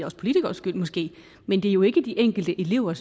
os politikeres skyld måske men det er jo ikke de enkelte elever